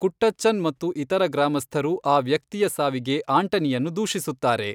ಕುಟ್ಟಚ್ಚನ್ ಮತ್ತು ಇತರ ಗ್ರಾಮಸ್ಥರು ಆ ವ್ಯಕ್ತಿಯ ಸಾವಿಗೆ ಆಂಟನಿಯನ್ನು ದೂಷಿಸುತ್ತಾರೆ.